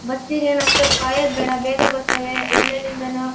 ಬಸ್ಸಿಗೆ ಏನ್ ಅಸ್ಟೋತ್ ಕಾಯೋದ್ ಬೇಡ ಬೇಗ ಬರ್ತವೇ ಎಲ್ ಎಲ್ಲಿಂದನೋ --